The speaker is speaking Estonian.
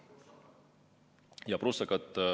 Ja prussakad...